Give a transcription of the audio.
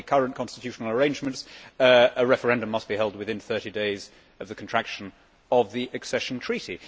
Under the current constitutional arrangements, a referendum must be held within 30 days of the contraction of the accession treaty.